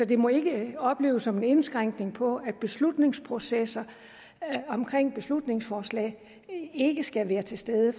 det må ikke opleves som en indskrænkning på at beslutningsprocesser omkring beslutningsforslag ikke skal være til stede